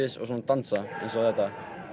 og svona dansa eins og þetta